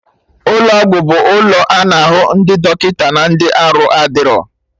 Ụlọ ọgwụ bụ ụlọ a na-ahụ ndị dọkịta na ndị arụ adịro